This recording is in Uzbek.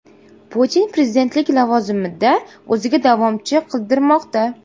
Putin prezidentlik lavozimida o‘ziga davomchi qidirmoqda.